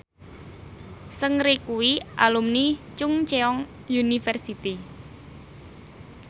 Seungri kuwi alumni Chungceong University